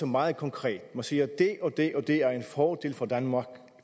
meget konkret man siger at det det og det er en fordel for danmark